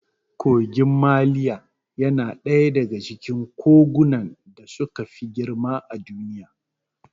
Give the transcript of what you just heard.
Kogin maliya yana ɗaya daga cikin kogunan da suka fi girma a Duniya.